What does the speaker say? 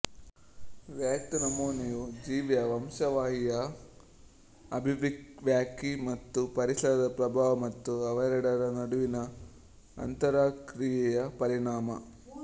ವ್ಯಕ್ತನಮೂನೆಯು ಜೀವಿಯ ವಂಶವಾಹಿಯ ಅಭಿವ್ಯಕ್ತಿ ಮತ್ತು ಪರಿಸರದ ಪ್ರಭಾವ ಮತ್ತು ಅವೆರಡರ ನಡುವಿನ ಅಂತರಕ್ರಿಯೆಯ ಪರಿಣಾಮ